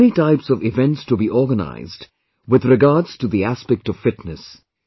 There are many types of events to be organized with regards to the aspect of fitness